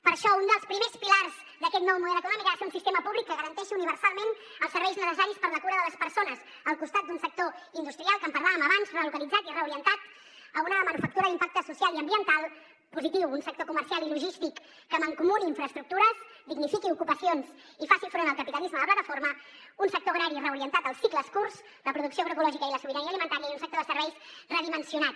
per això un dels primers pilars d’aquest nou model econòmic ha de ser un sistema públic que garanteixi universalment els serveis necessaris per a la cura de les persones al costat d’un sector industrial que en parlàvem abans relocalitzat i reorientat a una manufactura d’impacte social i ambiental positiu un sector comercial i logístic que mancomuni infraestructures dignifiqui ocupacions i faci front al capitalisme de plataforma un sector agrari reorientat als cicles curts la producció agroecològica i la sobirania alimentària i un sector de serveis redimensionat